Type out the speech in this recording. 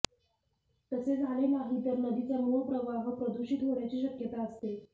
तसे झाले नाही तर नदीचा मूळ प्रवाह प्रदूषित होण्याची शक्यता असते